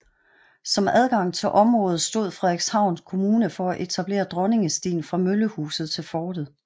Som adgang til området stod Frederikshavn kommune for at etablere Dronningestien fra Møllehuset til fortet